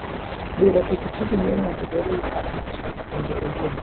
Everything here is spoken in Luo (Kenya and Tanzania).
Diro pikipiki miyo ng'ato bedo gi paro mar dak kende owuon.